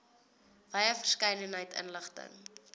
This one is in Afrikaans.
wye verskeidenheid inligting